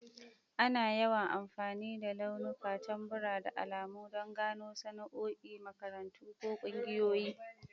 Ana yawan amfani da launuka, tambura, da alamu don gano sana'o'i, makarantu, ko ƙungiyoyi.